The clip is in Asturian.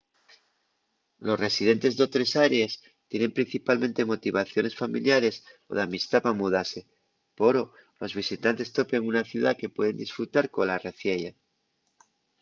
los residentes d'otres arees tienen principalmente motivaciones familiares o d'amistá pa mudase poro los visitantes topen una ciudá que pueden disfrutar cola reciella